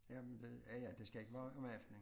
Jamen det ja ja det skal ikke være om aftenen